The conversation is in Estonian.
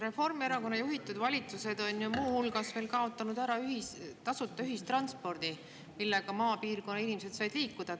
Reformierakonna juhitud valitsused on ju muu hulgas ära kaotanud ka tasuta ühistranspordi, millega maapiirkondade inimesed said liikuma.